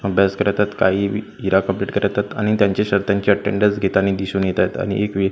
अभ्यास करत आहेत काही इरा कम्प्लीट करत आहेत आणि त्यांचे अटेंडांस घेता ने दिसून येत आहेत आणि एक वी --